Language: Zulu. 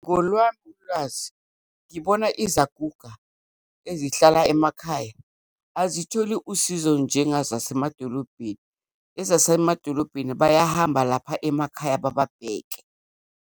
Ngolwami ulwazi, ngibona izaguga ezihlala emakhaya, azitholi usizo njengazasemadolobheni. Ezasemadolobheni, bayahamba lapha emakhaya bababheke.